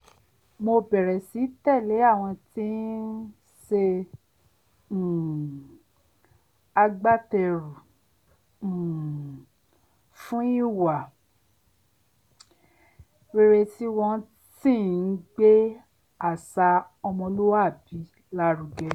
mo bẹ̀rẹ̀ sí tẹ̀lé àwọn tí ń s̩e um agbáte̩rù um fún ìwà rere tí wo̩n sì ń gbé àṣà o̩mo̩lúwàbí lárugẹ